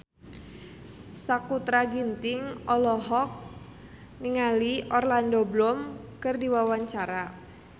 Sakutra Ginting olohok ningali Orlando Bloom keur diwawancara